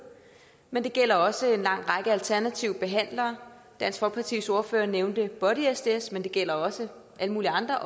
men det gælder også en lang række alternative behandlere dansk folkepartis ordfører nævnte body sds men det gælder også alle mulige andre